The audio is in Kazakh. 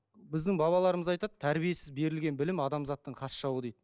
біздің бабаларымыз айтады тәрбиесіз берілген білім адамзаттың хас жауы дейді